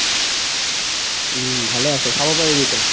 উম ভালে আছে ছাব পাৰিবি তই